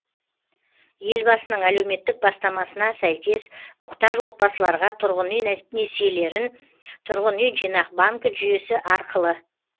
елбасының әлеуметтік бастамасына сәйкес мұқтаж отбасыларға тұрғын үй несиелерін тұрғын үй жинақ банкі жүйесі арқылы